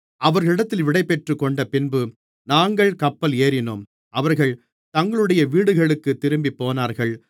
அவர்களிடத்தில் விடைபெற்றுக்கொண்டபின்பு நாங்கள் கப்பல் ஏறினோம் அவர்கள் தங்களுடைய வீடுகளுக்குத் திரும்பிப்போனார்கள்